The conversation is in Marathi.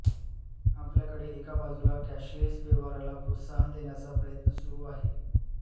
आपल्याकडे एका बाजूला कॅशलेस व्यवहाराला प्रोत्साहन देण्याचा प्रयत्न सुरू आहे